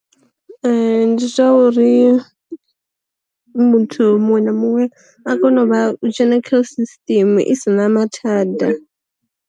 Ndi zwa uri, muthu muṅwe na muṅwe a kone u vha, u dzhena kha system i si na mathada.